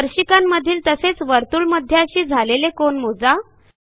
स्पर्शिकांमधील तसेच वर्तुळमध्याशी झालेले कोन मोजा